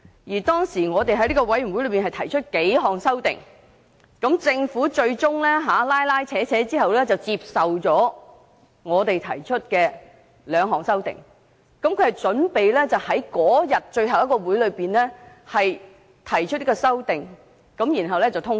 這個小組委員會當時提出數項修訂，經過一輪拉扯，政府最終接受了我們提出的兩項修訂，並準備在最後一次會議上提出和通過。